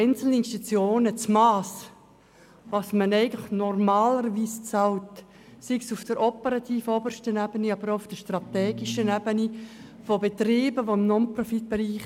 Einzelne Institutionen haben das Mass dessen, was normalerweise bezahlt wird, massiv überschritten – sei es auf der obersten operativen Ebene oder sei es auf der obersten strategischen Ebene von Betrieben im Non-Profit-Bereich.